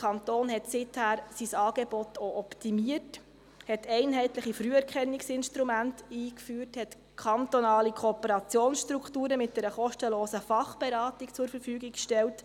Seither hat der Kanton sein Angebot auch optimiert, hat einheitliche Früherkennungsinstrumente eingeführt, hat kantonale Kooperationsstrukturen mit einer kostenlosen Fachberatung zur Verfügung gestellt.